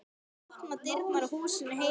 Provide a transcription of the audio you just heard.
Ég opna dyrnar á húsinu heima.